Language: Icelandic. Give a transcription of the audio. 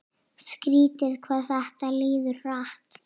Skrítið hvað þetta líður hratt.